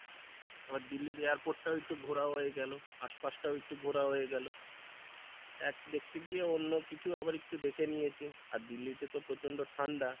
আবার দিল্লির airport টাও একটু ঘোরা হয়ে গেলো, আশপাশটাও একটু ঘোরা হয়ে গেলো এক দেখতে গিয়ে অন্য কিছু আবার একটু দেখে নিয়েছি আর দিল্লি তে তো প্রচণ্ড ঠাণ্ডা,